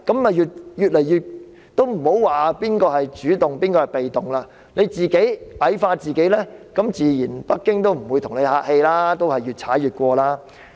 莫說誰是主動，誰是被動，你自己矮化自己，北京亦自然不會跟你客氣，會越踩越近。